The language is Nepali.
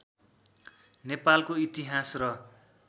नेपालको इतिहास र